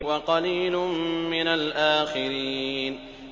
وَقَلِيلٌ مِّنَ الْآخِرِينَ